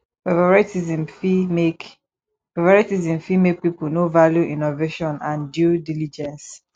favouritism fit make favouritism fit make pipo no value innovation and due diligence